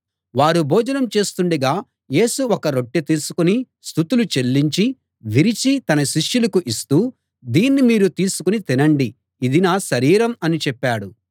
వారు భోజనం చేస్తుండగా యేసు ఒక రొట్టె తీసుకుని స్తుతులు చెల్లించి విరిచి తన శిష్యులకు ఇస్తూ దీన్ని మీరు తీసుకుని తినండి ఇది నా శరీరం అని చెప్పాడు